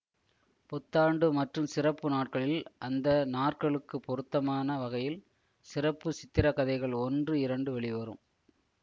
புத்தாண்டு மற்றும் சிறப்பு நாட்களில் அந்த நாற்களுக்கு பொருத்தமான வகையில் சிறப்பு சித்திரக்கதைகள் ஒன்று இரண்டு வெளிவரும்